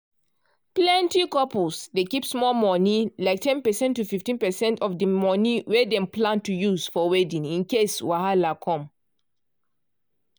plenty couples dey keep small monie like ten percent to 15 percent of de money wey dem plan to use for wedding in case wahala come.